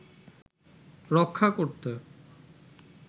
রক্ষা করতে